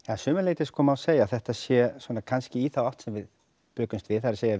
að sumu leyti sko má segja að þetta sé kannski í þá átt sem við bjuggumst við það er